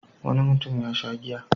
Wani mutum ya sha giya.